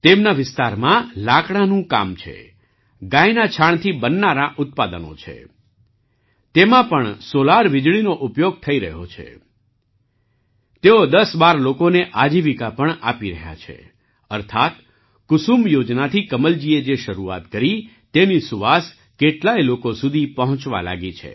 તેમના વિસ્તારમાં લાકડાનું કામ છે ગાયના છાણ થી બનનારાં ઉત્પાદનો છે તેમાં પણ સૉલાર વીજળીનો ઉપયોગ થઈ રહ્યો છે તેઓ ૧૦૧૨ લોકોને આજીવિકા પણ આપી રહ્યા છે અર્થાત્ કુસુમ યોજનાથી કમલજીએ જે શરૂઆત કરી તેની સુવાસ કેટલાય લોકો સુધી પહોંચવા લાગી છે